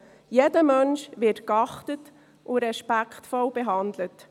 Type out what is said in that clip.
Jeder Mensch wird geachtet und respektvoll behandelt.